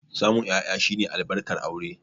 Samun 'ya'ya shine albarkar aure.